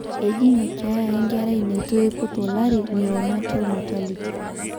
eji ina keeya enkerai neitu eiput olari neonatal mortality